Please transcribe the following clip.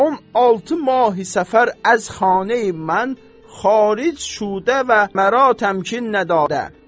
On altı mahi səfər əz xaneyi mən xaric şudə və mərətəm ki nə dadə.